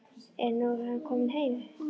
En nú er hann kominn heim.